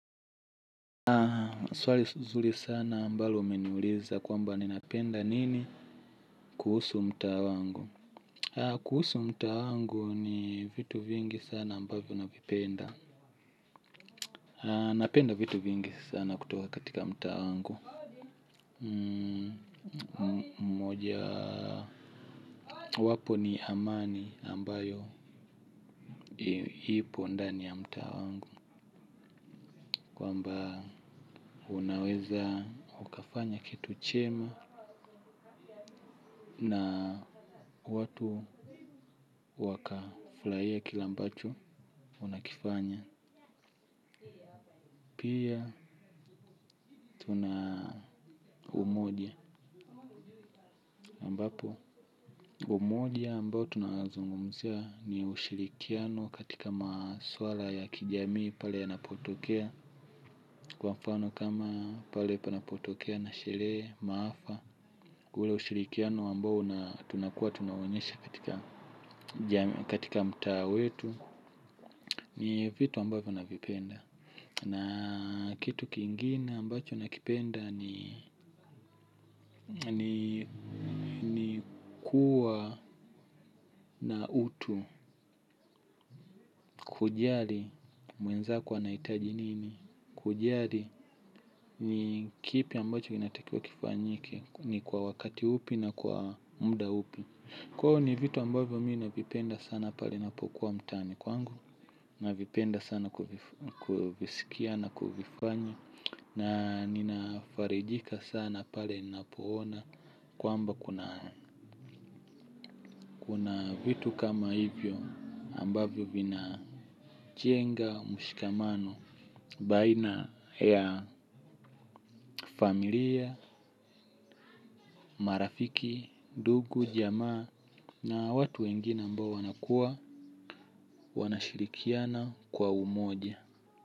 Swali nzuri sana ambalo umeniuliza kwamba ninapenda nini kuhusu mtaa wangu. Kuhusu mtaa wangu ni vitu vingi sana ambavyo navipenda. Napenda vitu vingi sana kutoka katika mtaa wangu. Moja wapo ni amani ambayo ipo ndani ya mtaa wangu. Kwamba unaweza ukafanya kitu chema na watu wakafulahia kila ambacho wanakifanya. Pia tuna umoja ambapo, umoja ambao tunazungumzia ni ushirikiano katika maswala ya kijamii pale yanapotokea. Kwa mfano kama pale panapotokea na sherehe, maafa, ule usirikiano ambao tunakua tunaonyesha katika mtaa wetu. Ni vitu ambayo navipenda, na kitu kingine ambacho nakipenda ni kua na utu. Kujali mwenzako anahitaji nini. Kujali ni kipi ambacho kinatakiwa kifanyike, ni kwa wakati upi na kwa muda upi. Kwa hivyo ni vitu ambayo mimi navipenda sana pale ninapokua mtaani kwangu. Navipenda sana kuvisikia na kuvifanya na ninafarijika sana pale ninapo ona kwamba kuna vitu kama hivyo ambavyo vina chenga, mshikamano, baina ya familia, marafiki, ndugu, jamaa na watu wengine ambao wanakua wanashirikiana kwa umoja.